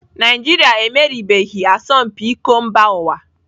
Naijiria emeriebeghị asọmpi iko mba ụwa.